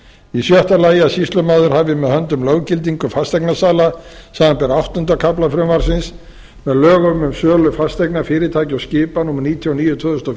í sjötta lagi að sýslumaður hafi með höndum löggildingu fasteignasala samanber áttunda kafla frumvarpsins með lögum um sölu fasteigna fyrirtækja og skipa númer níutíu og níu tvö þúsund og